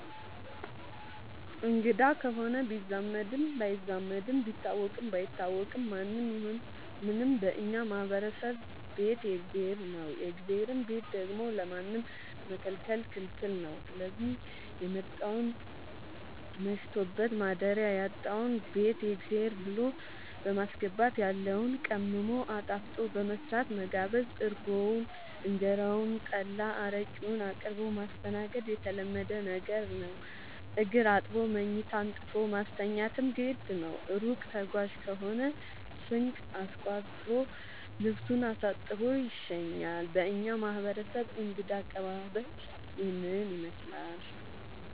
አንግዳ ከሆነ ቢዛመድም ባይዛመድም ቢታወቅም ባይታወቅም ማንም ይሁን ምንም በእኛ ማህበረሰብ ቤት የእግዜር ነው። የእግዜርን ቤት ደግሞ ለማንም መከልከል ክልክል ነው ስዚህ የመጣውን መሽቶበት ማደሪያ ያጣውን ቤት የእግዜር ብሎ በማስገባት ያለውን ቀምሞ አጣፍጦ በመስራት መጋበዝ እርጎውን እንጀራውን ጠላ አረቄውን አቅርቦ ማስተናገድ የተለመደ ነገር ነው። እግር አጥቦ መኝታ አንጥፎ ማስተኛትም ግድ ነው። እሩቅ ተጓዥ ከሆነ ስንቅ አስቋጥሮ ልሱን አሳጥቦ ይሸኛል። በእኛ ማህረሰብ እንግዳ አቀባሀል ይህንን ይመስላል።